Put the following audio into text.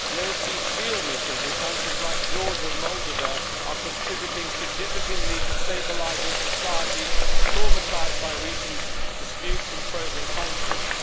The OSCE's field missions in countries like Georgia and Moldova are contributing significantly to stabilising societies traumatised by recent disputes and frozen conflicts.